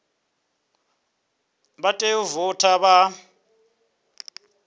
vha tea u voutha vha